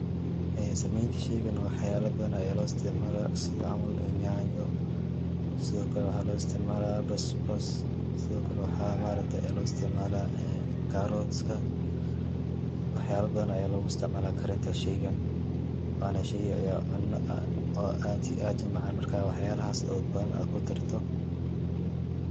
Sameynta shaygan waxyaala badan aya loo isticmaala sida camal yanyo sidakale waxaa loo isticmaala bas bas sidokale waxaa ma aragte waxaa loo isticmaala karotka waxyaala badan aya logu isticmaala karinta shaygan. Waana shay oo cuna oo aad iyo aad u macaan marka waxyalahas oo badan aa kudarto